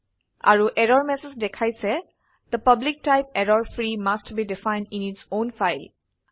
আৰু error message দেখাইছে the public type error free must be defined in its own file